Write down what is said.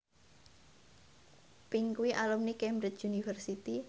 Pink kuwi alumni Cambridge University